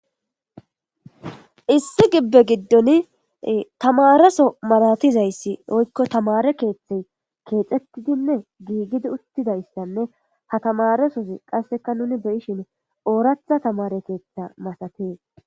Issi gibbe giddoni ee tamaareso malatizayis woyikko tamaare keethey keexetidinne gigidi uttidayisanne ha tamaaresozi qassekka nuni uttidi be7ishini ooratha tamaare keetha masatees